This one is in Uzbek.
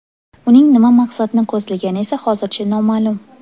Uning nima maqsadni ko‘zlagani esa hozircha noma’lum.